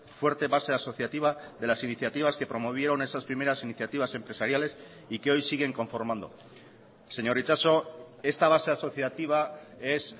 fuerte base asociativa de las iniciativas que promovieron esas primeras iniciativas empresariales y que hoy siguen conformando señor itxaso esta base asociativa es